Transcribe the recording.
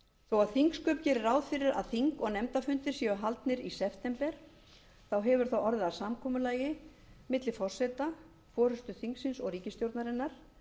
þó að þingsköp geri ráð fyrir að þing og nefndafundir séu haldnir í september hefur það orðið að samkomulagi milli forseta forustu þingsins og ríkisstjórnarinnar